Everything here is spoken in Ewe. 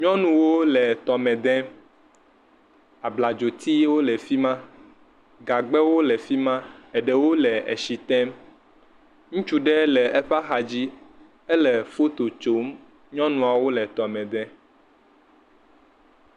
Nyɔnuwo le tɔme dem. Abladzotiwo le afi ma. Gagbewo le fi ma. Eɖewo le etsi te. Ŋutsu ɖe eƒe axa dzi. Ele foto tsom. Nytɔnuawo le tɔme dem.